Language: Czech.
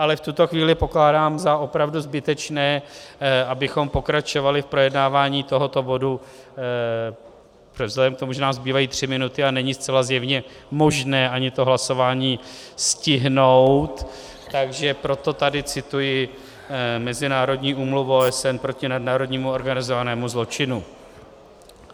Ale v tuto chvíli pokládám za opravdu zbytečné, abychom pokračovali v projednávání tohoto bodu vzhledem k tomu, že nám zbývají tři minuty a není zcela zjevně možné ani to hlasování stihnout, takže proto tady cituji Mezinárodní úmluvu OSN proti nadnárodnímu organizovanému zločinu.